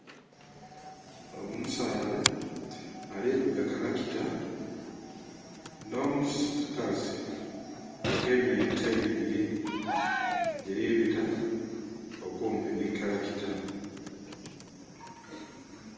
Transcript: Omusaadha ali vuga kalakita, nh'omukazi agemye ente ibili. Dhili bita okumpi nhi kalakita.